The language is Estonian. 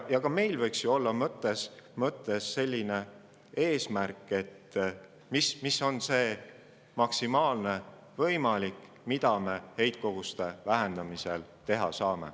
Ka meil võiks ju mõttes olla selline eesmärk, et mis on see maksimaalne võimalik, mida me heitkoguste vähendamiseks teha saame.